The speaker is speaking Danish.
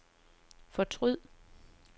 fortryd